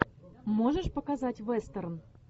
можешь показать вестерн